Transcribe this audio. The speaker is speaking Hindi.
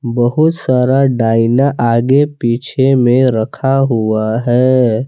बहुत सारा डाईना आगे पीछे में रखा हुआ हैं।